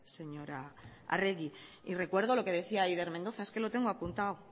señora arregi y recuerdo lo que decía aider mendoza es que lo tengo apuntado